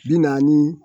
Bi naani